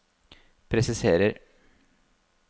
presiserer